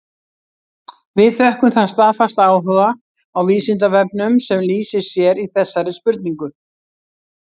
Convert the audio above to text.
Við þökkum þann staðfasta áhuga á Vísindavefnum sem lýsir sér í þessari spurningu.